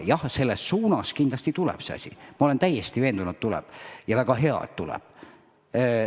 Jah, selles suunas kindlasti tuleb see asi, ma olen täiesti veendunud, et tuleb, ja väga hea, et tuleb.